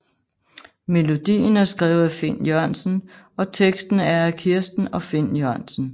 Melodien er skrevet af Finn Jørgensen og teksten er af Kirsten og Finn Jørgensen